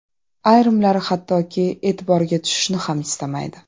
Ayrimlari hattoki e’tiborga tushishni ham istamaydi.